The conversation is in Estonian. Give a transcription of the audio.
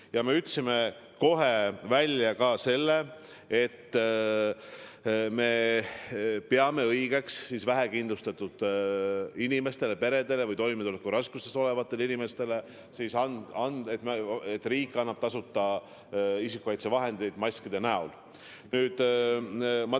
Ja me ütlesime kohe välja ka selle, et me peame õigeks vähekindlustatud inimestele, peredele, toimetulekuraskustes olevatele inimestele isikukaitsevahendeid, just maske tasuta anda.